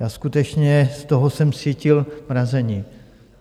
Já skutečně z toho jsem cítil mrazení.